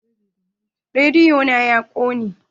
Rediyo na ya ƙone.